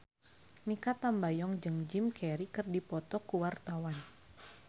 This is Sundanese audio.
Mikha Tambayong jeung Jim Carey keur dipoto ku wartawan